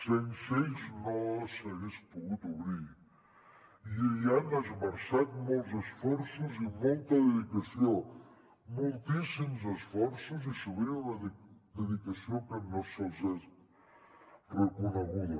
sense ells no s’hagués pogut obrir i hi han esmerçat molts esforços i molta dedicació moltíssims esforços i sovint una dedicació que no els és reconeguda